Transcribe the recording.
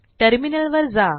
टर्मिनलवर जा